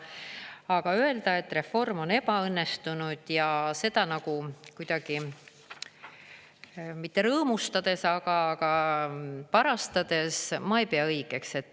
Aga öelda, et reform on ebaõnnestunud, ja seda nagu kuidagi mitte rõõmustades, aga parastades – ma ei pea seda õigeks.